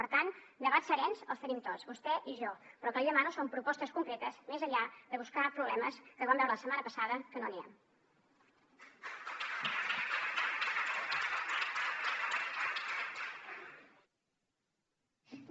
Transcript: per tant debats serens els tenim tots vostè i jo però el que li demano són propostes concretes més enllà de buscar problemes que ja vam veure la setmana passada que no n’hi han